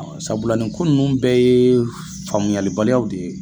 Sabula ni ko nunnu bɛɛ ye faamuya baliyaw de ye.